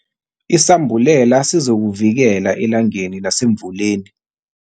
Isambulela sizokuvikela elangeni nasemvuleni.